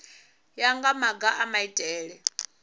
ya nga maga a maitele